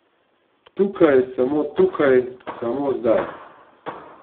Tukaj, samo tukaj, samo zdaj.